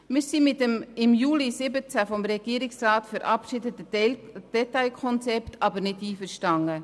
Allerdings sind wir mit dem im Juli 2017 vom Regierungsrat verabschiedeten Detailkonzept nicht einverstanden.